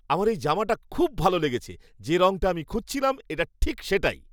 আমার এই জামাটা খুব ভালো লেগেছে। যে রঙটা আমি খুঁজছিলাম এটা ঠিক সেটাই।